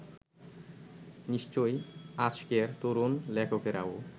নিশ্চয়ই আজকের তরুণ লেখকেরাও